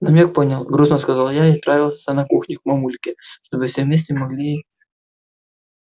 намёк понял грустно сказала я и отправилась на кухню к мамульке чтобы все вместе могли